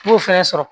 N b'o fɛnɛ sɔrɔ